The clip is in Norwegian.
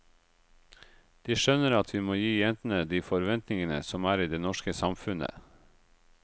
De skjønner at vi må gi jentene de forventningene som er i det norske samfunnet.